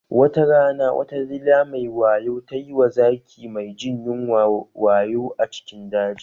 Watarana wata dila mai wayo tayi wa zaki mai jin yunwa wayo a cikin daji